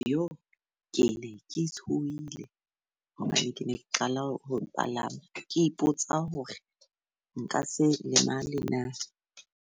Ke ne ke tshohile hobane ke ne ke qala ho palama. Ke ipotsa hore nka se lemale na.